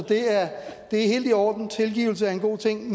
det er helt i orden tilgivelse er en god ting